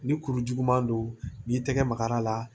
Ni kuru juguman don n'i y'i tɛgɛ magar'a la